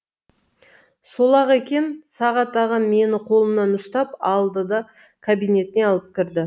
сол ақ екен сағат ағам мені қолымнан ұстап алды да кабинетіне алып кірді